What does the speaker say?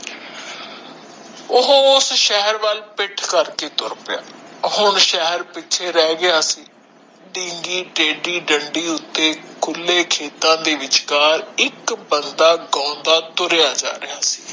ਓਹੋ ਸ਼ਹਿਰ ਵਾਲ ਪਿੱਠ ਕਰਕੇ ਤੁਰ ਪਿਆ ਹੁਣ ਸ਼ਹਿਰ ਪਿੱਛੇ ਰਹਿ ਗਿਆ ਸੀ ਬੀਂਗੀ ਟੇਡੀ ਡੰਡੀ ਉੱਤੇ ਖੁਲੇ ਖੇਤਾਂ ਦੇ ਵਿਚਕਾਰ ਇਕ ਬੰਦਾ ਗਾਉਂਦਾ ਤੁਰਿਆ ਜਾ ਰਿਹਾ ਸੀ